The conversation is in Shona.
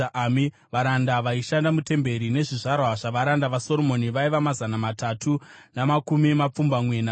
Varanda vaishanda mutemberi nezvizvarwa zvavaranda vaSoromoni vaiva mazana matatu namakumi mapfumbamwe navaviri.